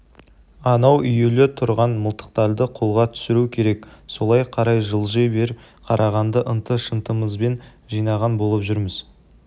анау үюлі тұрған мылтықтарды қолға түсіру керек солай қарай жылжи бер қарағанды ынты-шынтымызбен жинаған болып жүрміз